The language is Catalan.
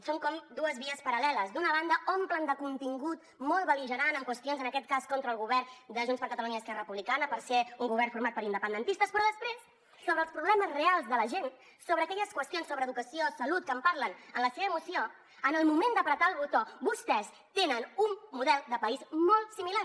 són com dues vies paral·leles d’una banda omplen de contingut molt bel·ligerant qüestions en aquest cas contra el govern de junts per catalunya i esquerra republicana perquè és un govern format per independentistes però després sobre els problemes reals de la gent sobre aquelles qüestions d’educació salut que en parlen en la seva moció en el moment de prémer el botó vostès tenen un model de país molt similar